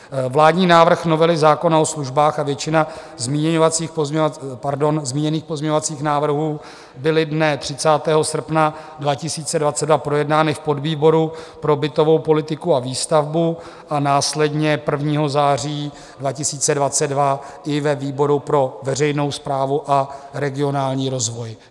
Vládní návrh novely zákona o službách a většina zmíněných pozměňovacích návrhů byly dne 30. srpna 2022 projednány v podvýboru pro bytovou politiku a výstavbu a následně 1. září 2022 i ve výboru pro veřejnou správu a regionální rozvoj.